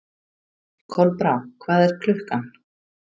Kolbrá, hvað er klukkan?